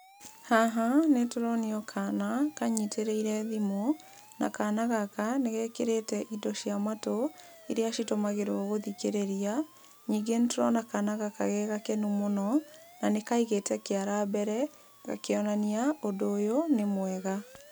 Haha nĩtũronio kana, kanyitĩrĩire thimũ, na kana gaka nĩgekĩrĩte indo cia matũ, iria itũmagĩrwo gũthikĩrĩria, ningĩ nĩtũrona kana gaka gegakenu mũno, na nĩkaigĩte kĩara mbere, gakĩonania ũndũ ũyũ nĩ mwega.